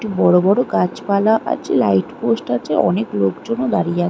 একটু বড় বড় গাছপালা আছে লাইট পোস্ট আছেঅনেক লোকজনও দাঁড়িয়ে আ --